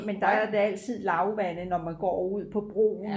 men der er det altid lavvande når man går ud på broen